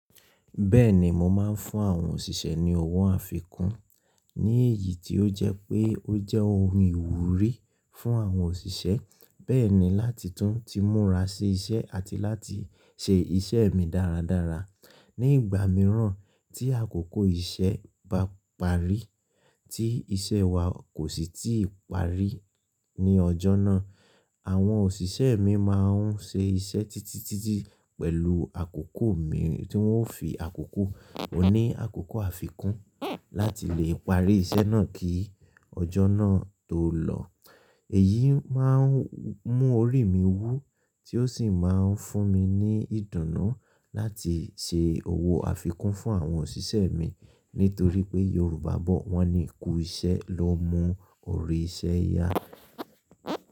Bẹ́ẹ̀ni, mo máa ń fún àwọn òṣìṣẹ́ ní owó àfikún ní èyí tí ó jẹ́ pé ó jẹ́ ohun ìwúrí fún àwọn òṣìṣẹ́. Bẹ́ẹ̀ ni láti tún ti múra sí iṣẹ́ àti láti ṣe iṣẹ́ mi dáradára. Ni ìgbà mìíràn tí àkókò iṣẹ́ bá parí tí iṣẹ́ wa kò sì tí ì parí ní ọjọ́ náà, àwọn òṣìṣẹ́ mi máa ń ṣe iṣẹ́ títí títí pẹ̀lú àkókò mi tí wọ́n ó fi àkókò wọn ní àkókò àfikún láti lè parí iṣẹ́ náà kí ọjọ́ náà tó lọ. Èyí máa ń mú orí mi wú tí ó sì máa ń fún mi ní ìdùnnú láti ṣe owó àfikún fún àwọn òṣìṣẹ́ mi. Nítorí pé Yorùbá bọ̀ wọ́n ní “kú iṣẹ́ ló mú orí iṣẹ́ yá”.